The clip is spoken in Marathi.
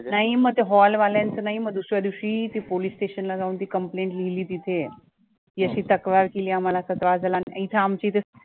नाही मग त्या hall वाल्यांचं नाही, मग दुसऱ्या दिवशी ते police station ला जाऊन ती complaint लिहिली तिथे ही अशी तक्रार केली आम्हाला इथं आमच्या इथे